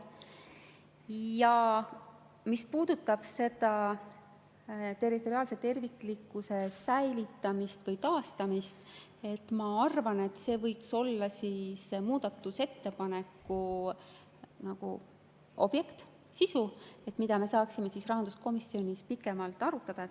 Ja mis puudutab seda territoriaalse terviklikkuse säilitamist või taastamist, siis ma arvan, et see võiks olla muudatusettepaneku sisu, mida me saaksime rahanduskomisjonis pikemalt arutada.